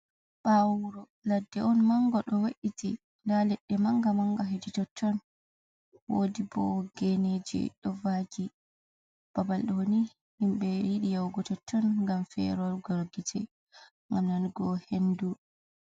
Ɓawo wuro ladde on manga do we’iti. Nda leɗɗe manga-manga hedi totton. Wodi bo geneji do vagi. Babal ɗoni himɓe yiɗi yahugo totton ngam ferogal gite, ngam nanugo hendu.